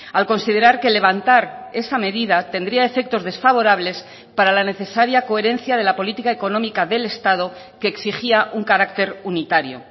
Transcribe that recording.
al considerar que levantar esa medida tendría efectos desfavorables para la necesaria coherencia de la política económica del estado que exigía un carácter unitario